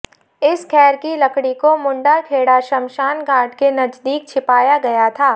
इस खैर की लकड़ी को मुंडा खेड़ा श्मशान घाट के नजदीक छिपाया गया था